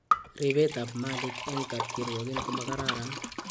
Repet ab malik eng kapkirwogiin komakararan